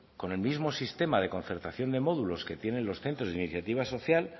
con el mismo sistema de concertación de módulos que tienen los centros de iniciativa social